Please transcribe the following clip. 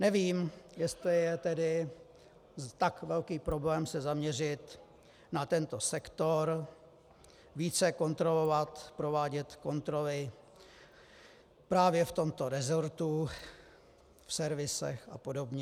Nevím, jestli je tedy tak velký problém se zaměřit na tento sektor, více kontrolovat, provádět kontroly právě v tomto resortu, v servisech a podobně.